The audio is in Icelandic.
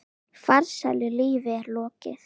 Farsælu lífi er lokið.